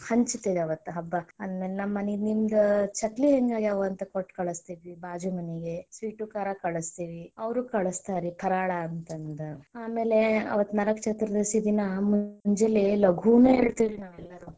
ಹಂಚತೆವ್ ರಿ ಅವತ್ತ ಹಬ್ಬಕ್ಕಾ ಅಂದಂಗ ನಮ್ಮ ಮನಿಗ ನಿಮ್ದ ಚಕ್ಲಿ ಹೆಂಗ ಆಗ್ಯಾವ ಅಂತ ಕೊಟ್ಟ ಕಳಸ್ತೇವಿ ಬಾಜು ಮನಿಗೆ sweet ಖಾರ ಕಳಸ್ತೇವಿ ಅವ್ರು ಕಳಸ್ತಾರ ಪರಾಳ ಅಂತಂದು ಆಮೇಲೆ ಅವತ್ತ ನರಕ ಚತುರ್ದಶಿ ದಿನಾ ಮುಂಜಾಲೆ ಲಘುನ ಏಳ್ತೆವ್ ರಿ ನಾವೆಲ್ಲಾರು.